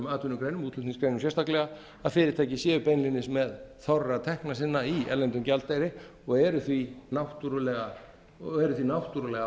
atvinnugreinum útflutningsgreinum sérstaklega að fyrirtæki séu beinlínis með þorra tekna sinna í erlendum gjaldeyri og eru því náttúrlega